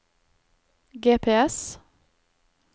GPS